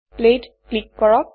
play ত click কৰক